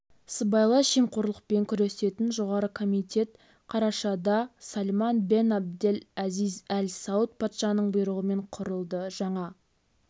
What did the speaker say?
сыбайлас жемқорлықпен күресетін жоғары комитет қарашада сальман бен абдель әзиз әль сауд патшаның бұйрығымен құрылды жаңа